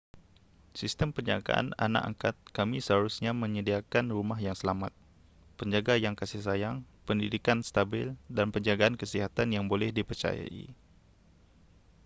sistem penjagaan anak angkat kami seharusnya menyediakan rumah yang selamat penjaga yang kasih sayang pendidikan stabil dan penjagaan kesihatan yang boleh dipercayai